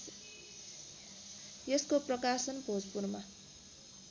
यसको प्रकाशन भोजपुरमा